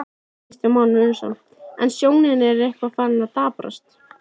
Kristján Már Unnarsson: En sjónin er eitthvað farin að daprast?